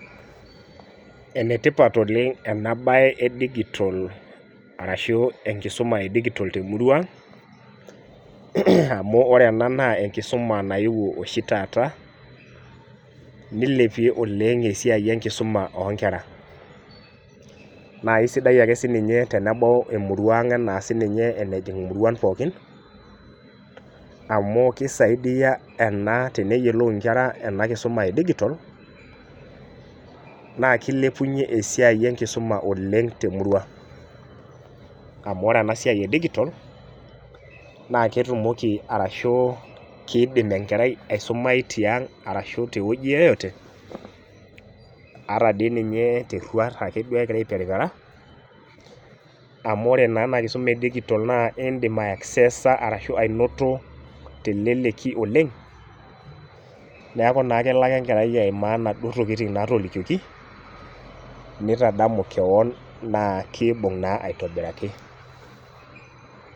Enetipat oleng' ena siai edigitol arashu enkisuma edigitol temurua ang', amu wore ena naa enkisuma nayewuo oshi taata, nilepie oleng' esiai enkisuma oonkera. Naa aisidai ake sininye tenebau emurua ang' enaa sininye enejing imuruan pookin, amu kisaidia ena teneyiolou inkera ena kisuma edigitol, naa kilepunyie esiai enkisuma oleng' temurua. Amu wore ena siai edigitol, naa ketumoki arashu kiidim enkerai aisumai tiang arashu tewoji yeyote, ata dii ninye terruat ake duo ekira aiperipera, amu wore naa ena kisuma edigitol naa iindim aiaccesa arashu ainoto teleleki oleng'. Neeku naa kelo ake enkerai aimaa inaduo tokitin naatolikioki, nitadamu keon naa kiibung naa aitobiraki.